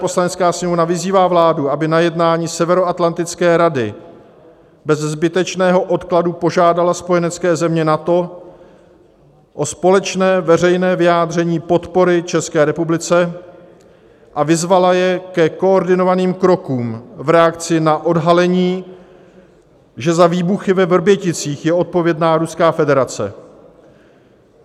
Poslanecká sněmovna vyzývá vládu, aby na jednání Severoatlantické rady bez zbytečného odkladu požádala spojenecké země NATO o společné veřejné vyjádření podpory České republice a vyzvala je ke koordinovaným krokům v reakci na odhalení, že za výbuchy ve Vrběticích je odpovědná Ruská federace.